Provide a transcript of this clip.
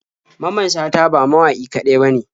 Mamman shata ba mawaƙi kaɗai bane.